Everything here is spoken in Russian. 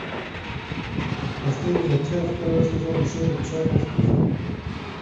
последняя часть второй сезон шоу черный список